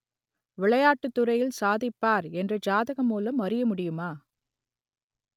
விளையாட்டுத் துறையில் சாதிப்பார் என்று ஜாதகம் மூலம் அறிய முடியுமா